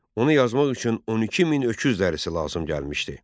Onu yazmaq üçün 12 min öküz dərisi lazım gəlmişdi.